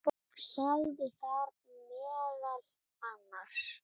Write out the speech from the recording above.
Sagði þar meðal annars